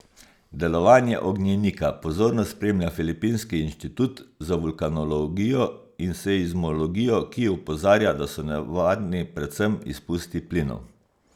Delovanje ognjenika pozorno spremlja filipinski inštitut za vulkanologijo in seizmologijo, ki opozarja, da so nevarni predvsem izpusti plinov.